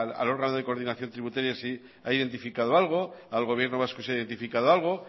al órgano de coordinación tributaria si ha identificado algo al gobierno vasco si ha identificado algo